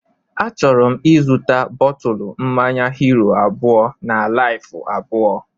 Achọrọ m ịzụta bọtụlu mmanya Hiro abụọ na Laifu abụọ